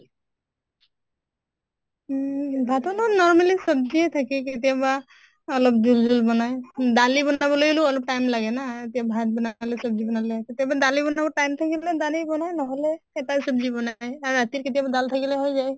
উম ভাতৰ লগত normally চব্জেয়ে থাকে কেতিয়াবা অলপ জোল জোল বনায়। দালি বনাব লাগিলেঅ অলপ time লাগে না। এতিয়া ভাত বনালো আলু চব্জি বনালো। কেতিয়াবা দালি বনাব time থাকিলে দালি বনাও, নহʼলে এটাই চব্জি বনায় আৰু ৰাতিৰ কেতিয়াবা দাল থাকিলে হৈ যায়।